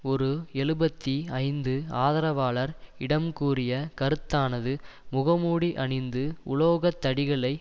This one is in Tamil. ஒரு எழுபத்தி ஐந்து ஆதரவாளர் இடம் கூறிய கருத்தானது முகமூடி அணிந்து உலோக தடிகளை